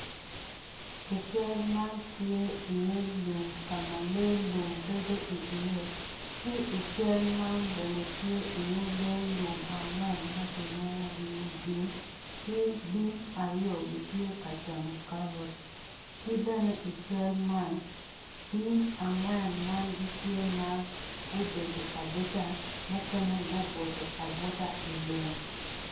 I cal man tye iye lum ka ma lee lum bedo iye ki i cal man bene tye iye lee lum angwen ma kilwongogi ni bim ki bim aryo tye ka camo karot ki bene i cal man bim angwen man gitye ma gubedo abeda mukene gubuto abuta i lum.